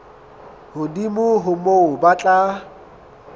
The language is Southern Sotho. hodimo ho moo ba tla